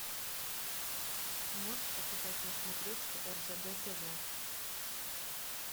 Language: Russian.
можешь показать на смотрешке ржд тв